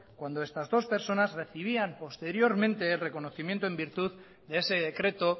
cuando estas dos personas recibían posteriormente reconocimiento en virtud de ese decreto